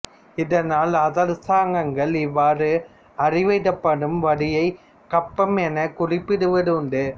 இதனால் அரசாங்கங்கள் இவ்வாறு அறவிடப்படும் வரியைக் கப்பம் எனக் குறிப்பிடுவது உண்டு